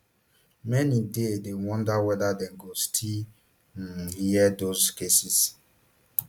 many dey dey wonder whether dem go still um hear those cases